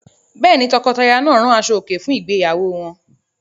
Bẹ́ẹ̀ ni, tọkọtaya náà rán aṣọòkè fún ìgbéyàwó wọn.